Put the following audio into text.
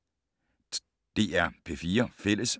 DR P4 Fælles